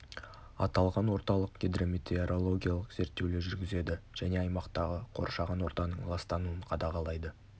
аталған орталық гидрометеорологиялық зерттеулер жүргізеді және аймақтағы қоршаған ортаның ластануын қадағалайды